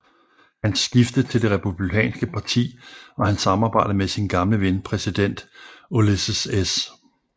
Hans skifte til det Republikanske Parti og hans samarbejde med sin gamle ven præsident Ulysses S